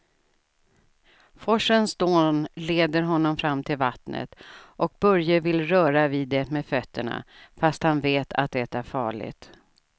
Forsens dån leder honom fram till vattnet och Börje vill röra vid det med fötterna, fast han vet att det är farligt.